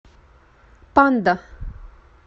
панда